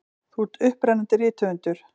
Þú ert upprennandi rithöfundur.